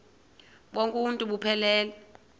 bonk uuntu buphelele